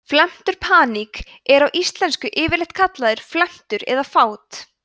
felmtur paník er á íslensku yfirleitt kallað felmtur eða fát